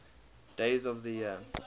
days of the year